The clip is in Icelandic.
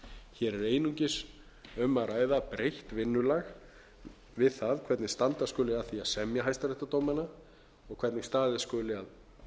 hér er einungis um að ræða breytt vinnulag við það hvernig standa skuli að því að semja hæstaréttardómana og hvernig staðið skuli að